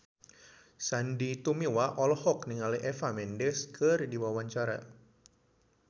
Sandy Tumiwa olohok ningali Eva Mendes keur diwawancara